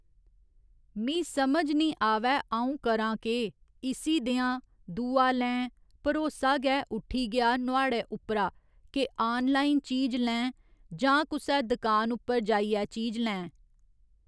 मीं समझ निं आवै अ'ऊं करां केह् इसी देआं दूआ लैं भरोसा गै उट्ठी गेआ नुआढ़ै उप्परा के आनलाइन चीज लैं जां कुसै दकान उप्पर जाइयै चीज लैं।